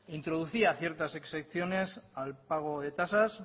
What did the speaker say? introducía ciertas exenciones al pago de tasas